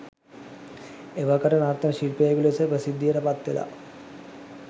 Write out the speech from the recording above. එවකට නර්තන ශිල්පියෙකු ලෙස ප්‍රසිද්ධියට පත්වෙලා